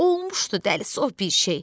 Olmuşdu dəli sov bir şey.